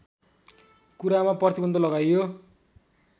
कुरामा प्रतिबन्ध लगाइयो